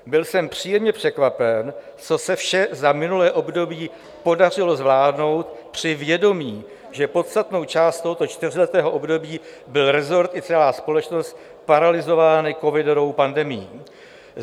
Byl jsem příjemně překvapen, co se vše za minulé období podařilo zvládnout při vědomí, že podstatnou část tohoto čtyřletého období byly resort i celá společnost paralyzovány covidovou pandemií.